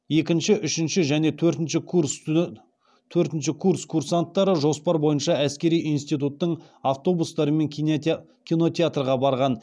екінші үшінші және төртінші курс курсанттары жоспар бойынша әскери институттың автобустарымен кинотеатрға барған